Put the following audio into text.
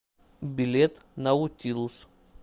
билет наутилус